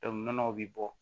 nɔnɔw bɛ bɔ